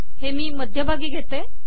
हे मी मध्यभागी घेते